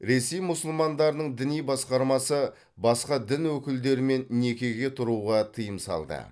ресей мұсылмандарының діни басқармасы басқа дін өкілдерімен некеге тұруға тыйым салды